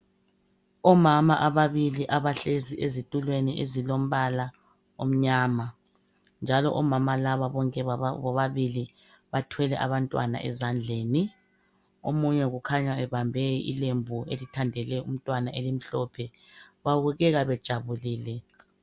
Omama abalili abahlezi ezitulwen ezilombala omnyama njalo omama laba bobabili bathwele abantwana ezandlen omunye kukhanya ebambe ilembu elithandele umtwana elimhlophe babukeka bejabulile